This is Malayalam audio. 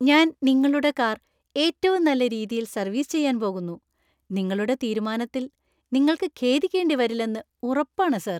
ഞാൻ നിങ്ങളുടെ കാർ ഏറ്റവും നല്ല രീതിയിൽ സര്‍വീസ് ചെയ്യാൻ പോകുന്നു. നിങ്ങളുടെ തീരുമാനത്തിൽ നിങ്ങൾക്കു ഖേദിക്കേണ്ടി വരില്ലെന്ന് ഉറപ്പാണ് , സർ!